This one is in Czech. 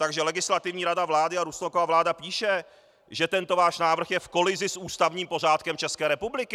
Takže Legislativní rada vlády a Rusnokova vláda píše, že tento váš návrh je v kolizi s ústavním pořádkem České republiky.